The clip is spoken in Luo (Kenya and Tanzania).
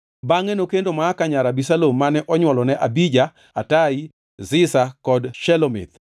Bangʼe nokendo Maaka nyar Abisalom mane onywolone Abija, Atai, Ziza kod Shelomith.